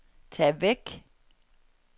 tag væk